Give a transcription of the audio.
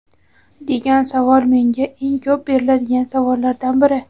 degan savol menga eng ko‘p beriladigan savollardan biri.